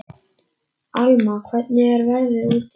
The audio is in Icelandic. Alma, hvernig er veðrið úti?